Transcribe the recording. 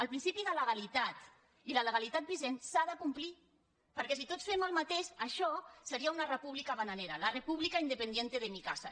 el principi de legalitat i la legalitat vigent s’han de complir perquè si tots fem el mateix això seria una república bananera la república independiente de mi casa